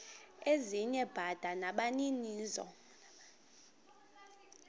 ezinye bada nabaninizo